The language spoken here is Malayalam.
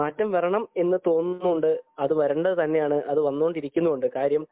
മാറ്റം വരണമെന്ന് തോന്നുന്നുണ്ട് അത് വരേണ്ടത് തന്നെയാണ് അത് വന്നു കൊണ്ടിരിക്കുന്നുമുണ്ട് കാര്യം